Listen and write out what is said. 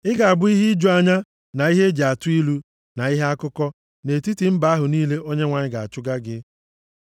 Ị ga-abụ ihe iju anya, na ihe e ji atụ ilu, na ihe akụkọ, nʼetiti mba ahụ niile Onyenwe anyị ga-achụga gị.